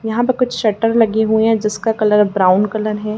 यहाँ पे कुछ शटर लगी हुई हैं जिसका कलर ब्राउन कलर है।